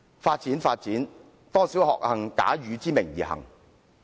"發展，發展，多少惡行，假汝之名而行！